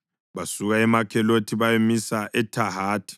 Basuka eMakhelothi bayamisa eThahathi.